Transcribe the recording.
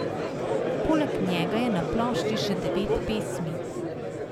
Poleg njega je na plošči še devet pesmi.